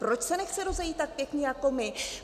Proč se nechce rozejít tak pěkně jako my?